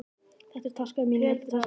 Þetta er taskan mín. Er þetta taskan þín?